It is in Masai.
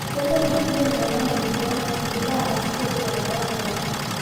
kemoku ilkulie tunganak marijuana indipa atasishore tenkata nadoo.